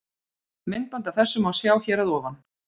Myndband af þessu má sjá hér að ofan.